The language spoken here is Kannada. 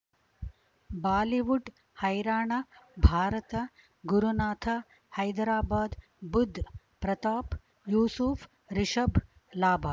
ಬಾಲಿವುಡ್ ಹೈರಾಣ ಭಾರತ ಗುರುನಾಥ ಹೈದರಾಬಾದ್ ಬುಧ್ ಪ್ರತಾಪ್ ಯೂಸುಫ್ ರಿಷಬ್ ಲಾಭ